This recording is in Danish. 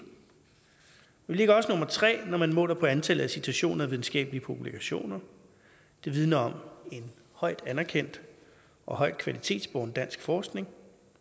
ligger også nummer tre når man måler på antallet af citationer af videnskabelige publikationer det vidner om en højt anerkendt og højt kvalitetsbåren dansk forskning